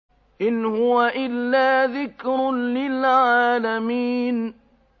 إِنْ هُوَ إِلَّا ذِكْرٌ لِّلْعَالَمِينَ